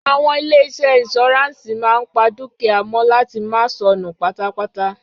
Àwọn ilé-iṣẹ́ ìnsùráǹsì máa ń pa dúkìá mọ láti máa sọnù pátápátá.